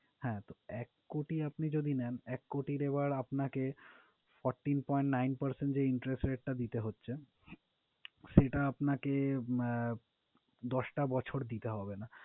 হ্যাঁ, তো এক কোটি আপনি যদি নেন এক কোটির এবার আপনাকে fourteen point nine percent যে interest rate টা দিতে হচ্ছে, সেইটা আপনাকে আহ দশটা বছর দিতে হবেনা।